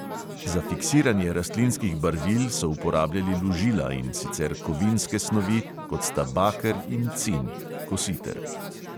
Za fiksiranje rastlinskih barvil so uporabljali lužila, in sicer kovinske snovi, kot sta baker in cin